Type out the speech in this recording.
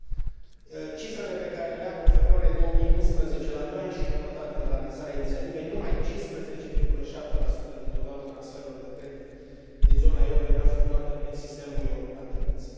Din cifrele pe care le am, în februarie 2011, la doi ani și jumătate de la lansarea inițiativei, numai 15,7 din totalul transferului de credit din zona euro era efectuată prin sistemul european de plăți.